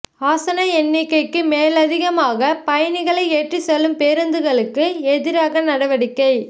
ஆசன எண்ணிக்கைக்கு மேலதிகமாக பயணிகளை ஏற்றிச் செல்லும் பேருந்துகளுக்கு எதிராக நடவடிக்கை